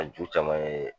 A ju caman ye